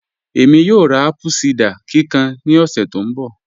Ẹ̀mí yóò rá apple cider kíkàn ní ọ̀ṣẹ̀ tó nbọ̀